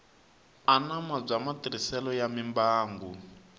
anama bya matirhiselo ya mimbangu